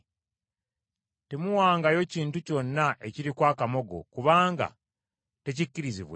Temuwangayo kintu kyonna ekiriko akamogo kubanga tekikkirizibwenga.